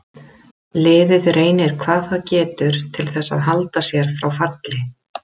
Liðið reynir hvað það getur til þess að halda sér frá falli.